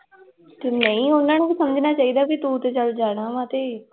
ਤੇ ਨਹੀਂ ਉਹਨਾਂ ਨੂੰ ਵੀ ਸਮਝਣਾ ਚਾਹੀਦਾ ਵੀ ਤੁੰ ਤੇ ਚੱਲ ਜਾਣਾ ਵਾਂ ਤੇ